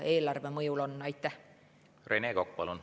Rene Kokk, palun!